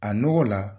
A nɔgɔ la